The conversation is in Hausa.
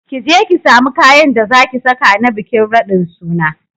Kije ki samu kayan da zaki saka na bikin raɗin suna